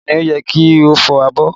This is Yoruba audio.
Ta ni ó yẹ kí ó fọ abọ́?